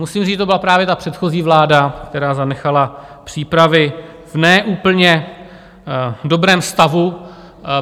Musím říct, že to byla právě ta předchozí vláda, která zanechala přípravy v ne úplně dobrém stavu.